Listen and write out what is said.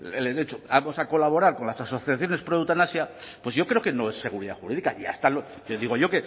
el hecho vamos a colaborar con las asociaciones proeutanasia pues yo creo que no es seguridad jurídica y digo yo